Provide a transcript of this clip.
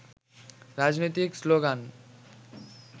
রাজনৈতিক শ্লোগান